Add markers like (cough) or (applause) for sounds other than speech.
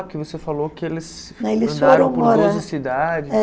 Porque você falou que eles (unintelligible)